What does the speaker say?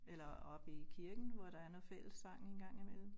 Eller oppe i kirken hvor der er noget fællessang en gang imellem